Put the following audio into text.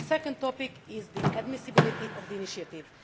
The second topic is the admissibility of the initiative.